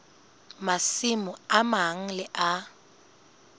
masimo a mang le a